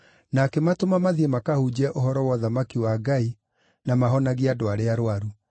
na akĩmatũma mathiĩ makahunjie ũhoro wa ũthamaki wa Ngai na mahonagie andũ arĩa arũaru.